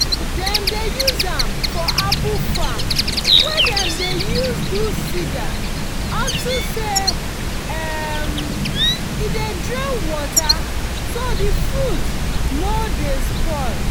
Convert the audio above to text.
dem dey use am for apple farm wey dem dey use do cidar unto say um e dey drain water so the fruits no dey spoil